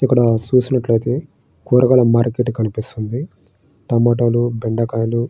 ఇక్కడ చూసినట్లయితే కూరగాయల మార్కెట్ కనిపిస్తుంది. టమోటాలు బెండకాయలు --